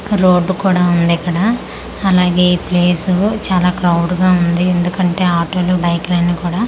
road కూడా ఉంది ఇక్కడ అలాగే ఈ ప్లేసు చాలా క్రౌడ్ గా ఉంది ఎందుకంటే ఆటోలు బైకులు అన్నీ కూడా--